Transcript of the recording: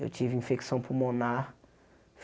Eu tive infecção pulmonar.